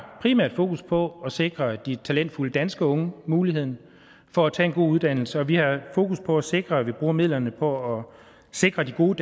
fokus på at sikre de talentfulde danske unge muligheden for at tage en god uddannelse og vi har fokus på at sikre at vi bruger midlerne på at sikre gode